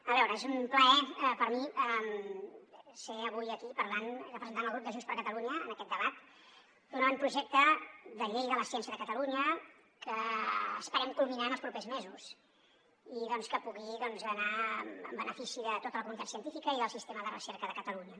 a veure és un plaer per mi ser avui aquí parlant i representant el grup de junts per catalunya en aquest debat d’un avantprojecte de llei de la ciència de catalunya que esperem culminar en els propers mesos i doncs que pugui anar en benefici de tota la comunitat científica i del sistema de recerca de catalunya